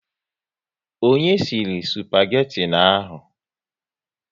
Onye sịrị spageti ahụ?